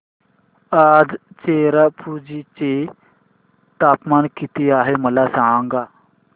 आज चेरापुंजी चे तापमान किती आहे मला सांगा